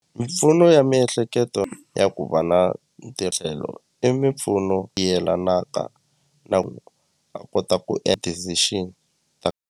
Mimpfuno ya miehleketo ya ku va na i mimpfuno yelanaka na ku a kota ku decision .